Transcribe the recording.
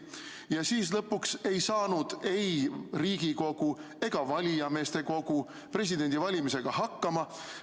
Ja siis lõpuks ei saanud ei Riigikogu ega valijameeste kogu presidendi valimisega hakkama.